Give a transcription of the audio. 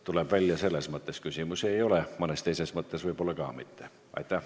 Tuleb välja, et selles mõttes teile küsimusi ei ole, mõnes teises mõttes võib-olla ka mitte.